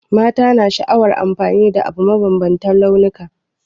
Mata na sha'awar amfani da abu mai mabambantan launuka.